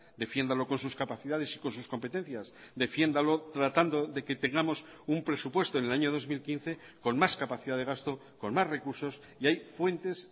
defiéndalo con sus capacidades y con sus competencias defiéndalo tratando de que tengamos un presupuesto en el año dos mil quince con más capacidad de gasto con más recursos y hay fuentes